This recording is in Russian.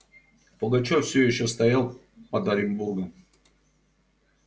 пугачёв всё ещё стоял под оренбургом